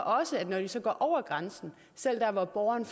også at når de så går over grænsen selv der hvor borgeren